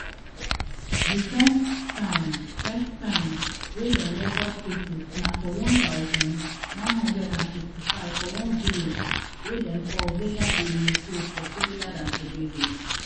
di first time first time wey dem record cases na for one thousand, nine hundred and fifty-five for one village wey dem call vega de oropouche for trinidad and tobago